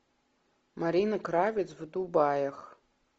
марина кравец в дубаях